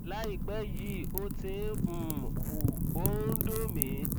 láìpẹ yìí ó ti ń um hù ó ń dùn mí